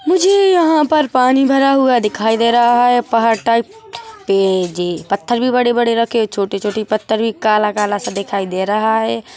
मुझे यहाँ पर पानी भरा हुआ दिखाई दे रहा है पहाड़ टाइप पे जे पत्थर भी बड़े बड़े रखे छोटे छोटे पत्थर भी काला काला सा दिखाई दे रहा है।